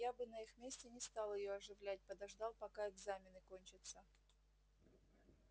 я бы на их месте не стал её оживлять подождал пока экзамены кончатся